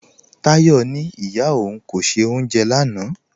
Táyọ̀ ní ìyá ọ̀un kò ṣẹ̀ ọ́unjẹ̀ lánà